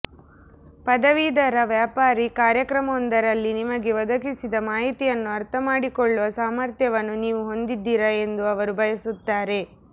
ಪದವೀಧರ ವ್ಯಾಪಾರಿ ಕಾರ್ಯಕ್ರಮವೊಂದರಲ್ಲಿ ನಿಮಗೆ ಒದಗಿಸಿದ ಮಾಹಿತಿಯನ್ನು ಅರ್ಥಮಾಡಿಕೊಳ್ಳುವ ಸಾಮರ್ಥ್ಯವನ್ನು ನೀವು ಹೊಂದಿದ್ದೀರಾ ಎಂದು ಅವರು ಬಯಸುತ್ತಾರೆ